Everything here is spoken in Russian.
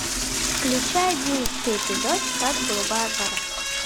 включай одиннадцатый эпизод штат голубая гора